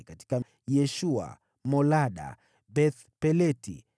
katika Yeshua, katika Molada, katika Beth-Peleti,